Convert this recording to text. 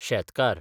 शेतकार